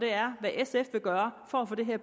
er hvad sf vil gøre for at få det her